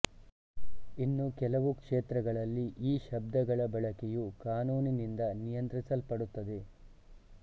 ಇನ್ನು ಕೆಲವು ಕ್ಷೇತ್ರಗಳಲ್ಲಿ ಈ ಶಬ್ದಗಳ ಬಳಕೆಯು ಕಾನೂನಿನಿಂದ ನಿಯಂತ್ರಿಸಲ್ಪಡುತ್ತದೆ